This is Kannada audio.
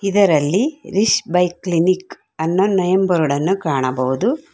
ಇದರಲ್ಲಿ ರಿಶ್ ಬೈಕ್ ಕ್ಲಿನಿಕ್ ಅನ್ನೋ ನೇಮ್ ಬೋರ್ಡ್ ಅನ್ನು ಕಾಣಬಹುದು.